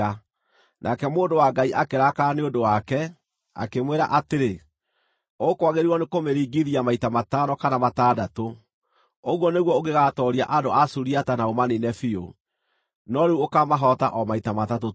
Nake mũndũ wa Ngai akĩrakara nĩ ũndũ wake, akĩmwĩra atĩrĩ, “Ũkwagĩrĩirwo nĩ kũmĩringithia maita matano kana matandatũ; ũguo nĩguo ũngĩgaatooria andũ a Suriata na ũmaniine biũ. No rĩu ũkaamahoota o maita matatũ tu.”